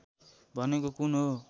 भनेको कुन हो